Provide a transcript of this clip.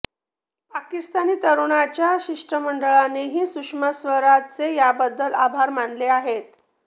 पाकिस्तानी तरुणांच्या शिष्ठमंडळानेही सुषमा स्वराजांचे याबद्दल आभार मानले आहेत